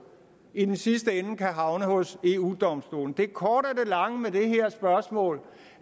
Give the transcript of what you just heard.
i den sidste ende kan havne hos eu domstolen det korte af lange med det her spørgsmål